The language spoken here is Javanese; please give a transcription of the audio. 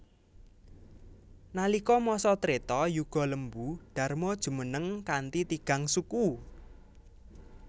Nalika masa Treta Yuga Lembu Dharma jumeneng kanthi tigang suku